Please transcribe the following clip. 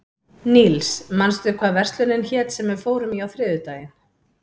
Níls, manstu hvað verslunin hét sem við fórum í á þriðjudaginn?